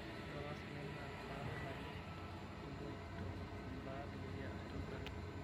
Ore olkasi lai naa paadol ajo kepuoito mbaa dukuya aitobiraki.